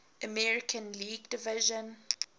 american league division